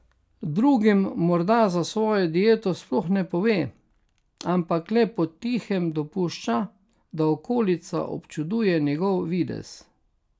Drugim morda za svojo dieto sploh ne pove, ampak le potihem dopušča, da okolica občuduje njegov videz.